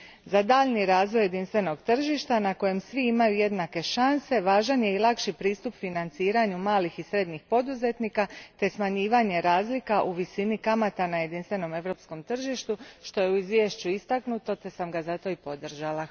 Za daljnji razvoj jedinstvenog tržišta na kojem svi imaju jednake šanse važan je i lakši pristup financiranju malih i srednjih poduzetnika te smanjivanje razlika u visini kamata na jedinstvenom europskom tržištu, što je istaknuto u izvješću te sam ga zato i podržala.